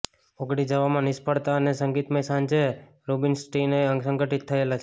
ઓગળી જવામાં નિષ્ફળતા અને સંગીતમય સાંજે રુબિનસ્ટીનએ સંગઠિત થયેલા છે